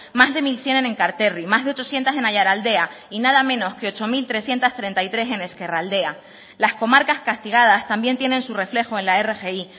más de mil cien en enkarterri más de ochocientos en aiaraldea y nada menos que ocho mil trescientos treinta y tres en ezkerraldea las comarcas castigadas también tienen su reflejo en la rgi